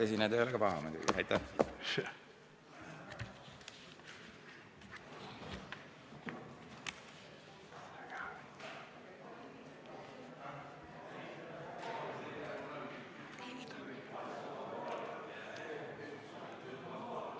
Istungi lõpp kell 12.58.